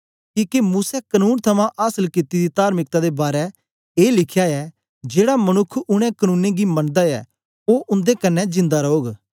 किके मूसै कनून थमां आसल कित्ती दी तार्मिकता दे बारै ए लिखया ऐ जेड़ा मनुक्ख उनै कनुनें गी मनदा ऐ ओ उन्दे कन्ने जिन्दा रौग